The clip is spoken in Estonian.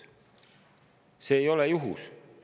See ei ole juhus.